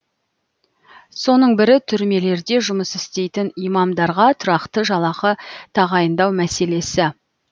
соның бірі түрмелерде жұмыс істейтін имамдарға тұрақты жалақы тағайындау мәселесі